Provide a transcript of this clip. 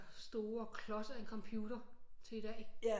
Store klods af en computer til i dag